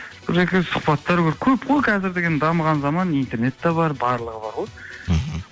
бір екі рет сұхбаттар көр көп қой қазір деген дамыған заман интернет те бар барлығы бар ғой мхм